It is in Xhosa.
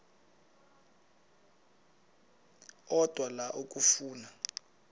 odwa la okafuna